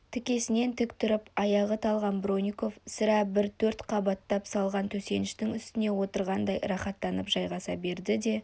тікесінен тік тұрып аяғы талған бронников сірә бір төрт қабаттап салған төсеніштің үстіне отырғандай рахаттанып жайғаса берді де